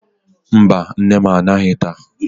Mba, nne m anaghị taa.